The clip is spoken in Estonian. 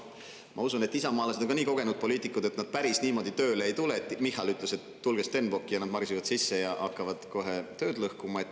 Ma usun, et isamaalased on nii kogenud poliitikud, et nad päris niimoodi tööle ei tule, et Michal ütles, et tulge Stenbocki, ja nad marsivad sisse ja hakkavad kohe tööd lõhkuma.